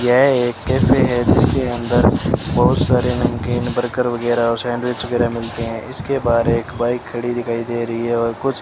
यह एक कैफे है जिसके अंदर बहुत सारे नमकीन बर्गर और सैंडविच वगैरा मिलते हैं इसके बाद एक बाइक खड़ी दिखाई दे रही है और कुछ --